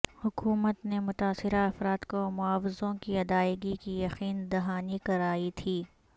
حکومت نے متاثرہ افراد کو معاوضوں کی ادائیگی کی یقین دہانی کرائی تھی